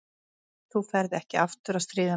Nei, þú ferð ekki aftur að stríða mér.